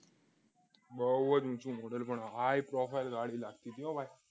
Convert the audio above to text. બહુ જ ઊંચો મોડલ high profile ગાડી લાગતી હતી ભાઈ